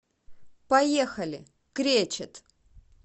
поехали кречет